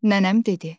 Nənəm dedi.